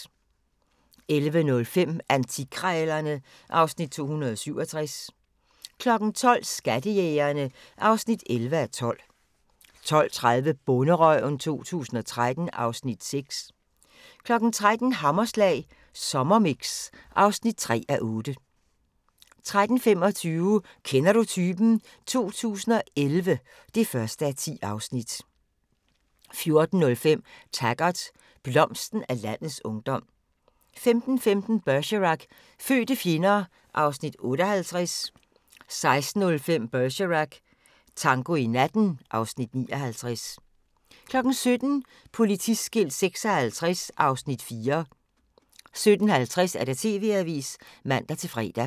11:05: Antikkrejlerne (Afs. 267) 12:00: Skattejægerne (11:12) 12:30: Bonderøven 2013 (Afs. 6) 13:00: Hammerslag Sommermix (3:8) 13:35: Kender du typen? 2011 (1:10) 14:05: Taggart: Blomsten af landets ungdom 15:15: Bergerac: Fødte fjender (Afs. 58) 16:05: Bergerac: Tango i natten (Afs. 59) 17:00: Politiskilt 56 (Afs. 4) 17:50: TV-avisen (man-fre)